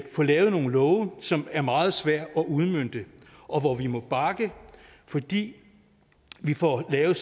få lavet nogle love som er meget svære at udmønte og hvor vi må bakke fordi vi får lavet